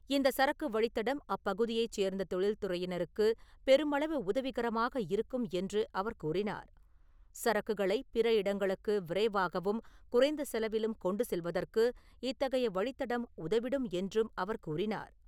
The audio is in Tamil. இந்த சரக்கு வழித்தடம் அப்பகுதியைச் சேர்ந்த தொழில்துறையினருக்கு பெருமளவு உதவிகரமாக இருக்கும் என்று அவர் கூறினார். சரக்குகளை பிற இடங்களுக்கு விரைவாகவும், குறைந்த செலவிலும் கொண்டு செல்வதற்கு இத்தகைய வழித்தடம் உதவிடும் என்றும் அவர் கூறினார்.